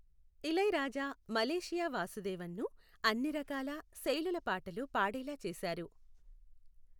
Ilaiyaraaja Malaysia వాసుదేవన్ను అన్ని రకాల, శైలుల పాటలు పాడేలా చేశారు.